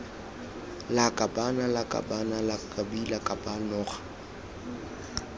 lakabaaan lakaban lakbi lakab noga